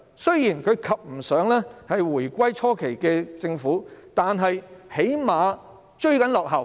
雖然不及回歸初期的政府，但至少正在追落後。